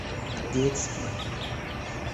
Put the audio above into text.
детский